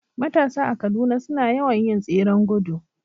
Matasa a Kaduna suna yawan yin tseren gudu